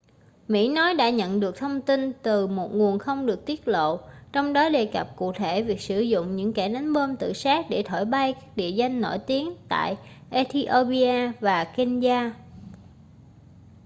mỹ nói đã nhận được thông tin từ một nguồn không được tiết lộ trong đó đề cập cụ thể việc sử dụng những kẻ đánh bom tự sát để thổi bay các địa danh nổi tiếng tại ethiopia và kenya